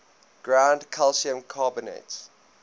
ground calcium carbonate